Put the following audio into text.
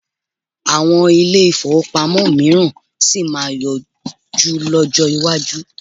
Àwọn ilé-ìfowópamọ́ mìíràn sì máa yọjú lọ́jọ́ iwájú.